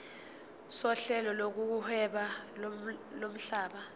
sohlelo lokuhweba lomhlaba